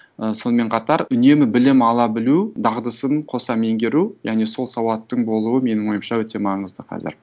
і сонымен қатар үнемі білім ала білу дағдысын қоса меңгеру яғни сол сауаттың болуы менің ойымша өте маңызды қазір